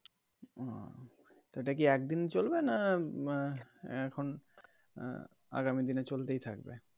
তো এইটা কি একদিনই চলবে না আহ এখন আহ আগামীদিনে চলতেই থাকবে.